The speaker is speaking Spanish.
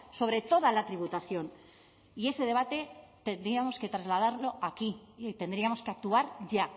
sobre toda la tributación y ese debate tendríamos que trasladarlo aquí y tendríamos que actuar ya